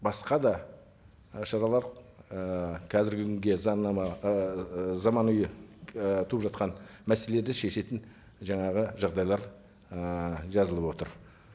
басқа да ы шаралар ы қазіргі күнге заңнама ыыы заманауи ы туып жатқан мәселелерді шешетін жаңағы жағдайлар ы жазылып отыр